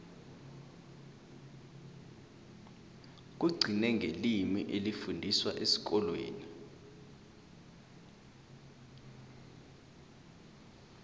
kugcine ngelimi elifundiswa esikolweni